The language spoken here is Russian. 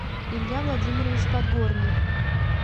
илья владимирович подгорный